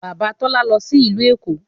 Bàbá Tọ́lá lọ sí ìlú Èkó